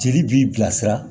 Jeli b'i bilasira